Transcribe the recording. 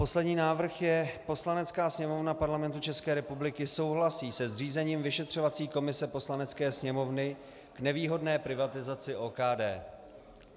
Poslední návrh je: Poslanecká sněmovna Parlamentu České republiky souhlasí se zřízením vyšetřovací komise Poslanecké sněmovny k nevýhodné privatizaci OKD.